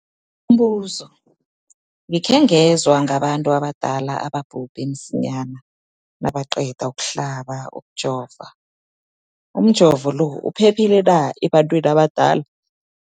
Umbuzo, gikhe ngezwa ngabantu abadala ababhubhe msinyana nabaqeda ukuhlaba, ukujova. Umjovo lo uphephile na ebantwini abadala?